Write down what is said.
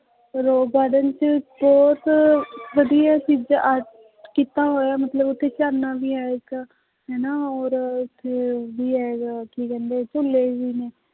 Rose garden ਵੀ ਬਹੁਤ ਵਧੀਆ ਜਿੱਦਾਂ ਕੀਤਾ ਹੋਇਆ ਮਤਲਬ ਉੱਥੇ ਝਰਨਾ ਵੀ ਹੈ ਇੱਕ ਹਨਾ ਔਰ ਉੱਥੇ ਵੀ ਹੈਗਾ ਕੀ ਕਹਿੰਦੇ ਝੂਲੇ ਵੀ ਨੇ।